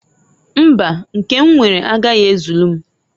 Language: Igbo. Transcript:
Mbaǃ Nke m nwere agaghi ezulu m.